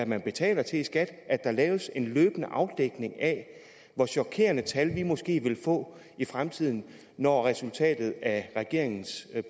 man betaler til i skat laves en løbende afdækning af hvor chokerende tal vi måske vil få i fremtiden når resultatet af regeringens